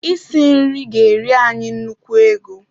Isi nri ga-eri anyị nnukwu ego